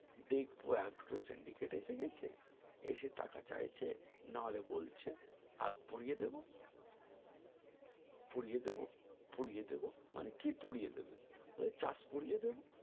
দেখবো এখন তো syndicate এসেগেছে এসে টাকা চাইছে নাহলে বলছে আগ পুড়িয়ে দেব পুড়িয়ে দেব পুড়িয়ে দেব মানে কি পুড়িয়ে দেবে ওই চাষ পুড়িয়ে দেব